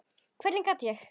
Hvernig gat ég.